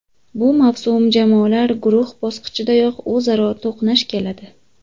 Bu mavsum jamoalar guruh bosqichidayoq o‘zaro to‘qnash keladi.